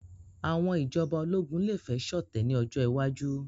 Àwọn ìjọba ológun lè fẹ́ ṣọ̀tẹ̀ ní ọjọ́ iwájú